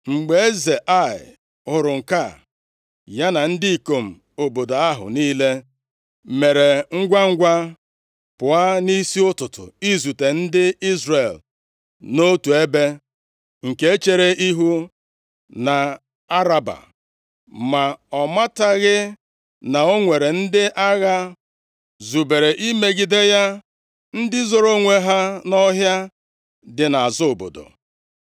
Mgbe eze Ai hụrụ nke a, ya na ndị ikom obodo ahụ niile mere ngwangwa pụọ nʼisi ụtụtụ izute ndị Izrel nʼotu ebe, nke chere ihu nʼAraba. Ma ọ mataghị na o nwere ndị agha zubere imegide ya ndị zoro onwe ha nʼọhịa dị nʼazụ obodo.